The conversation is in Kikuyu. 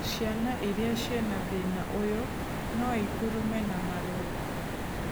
Ciana irĩa ciĩna thĩna ũyũ noikurume na marũngo